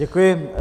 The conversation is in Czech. Děkuji.